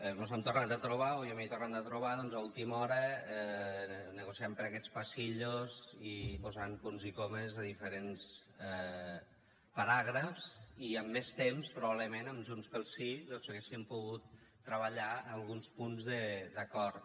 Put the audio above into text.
mos hem tornat a trobar o jo m’he tornat a trobar doncs a última hora negociant per aquests passadissos i posant punts i comes a diferents paràgrafs i amb més temps probablement amb junts pel sí hauríem pogut treballar alguns punts d’acord